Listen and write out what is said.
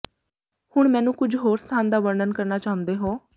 ਹੁਣ ਮੈਨੂੰ ਕੁਝ ਹੋਰ ਸਥਾਨ ਦਾ ਵਰਣਨ ਕਰਨਾ ਚਾਹੁੰਦੇ ਹੋ